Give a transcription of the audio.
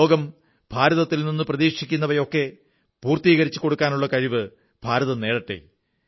ലോകം ഭാരതത്തിൽ നിന്ന് പ്രതീക്ഷിക്കുന്നവയൊക്കെ പൂർത്തീകരിച്ചുകൊടുക്കാനുള്ള കഴിവ് ഭാരതം നേടട്ടെ